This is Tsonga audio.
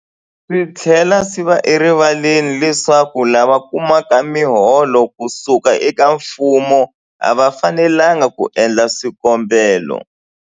Swi tlhela swi va erivaleni leswaku lava kumaka miholo ku suka eka mfumo a va fanelanga ku endla swikombelo.